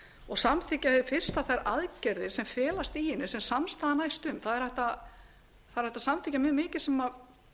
og samþykkja hið fyrsta þær aðgerðir sem felast í henni sem samstaða næst um það er hægt að samþykkja mjög mikið sem